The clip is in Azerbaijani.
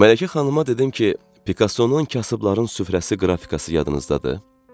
Mələkə xanıma dedim ki, Pikassonun kasıbların süfrəsi qrafikası yadınızdadır?